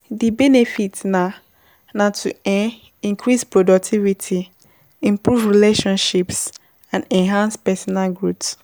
di benefit na na to um increase productivity, improve relationships and enhance personal growth.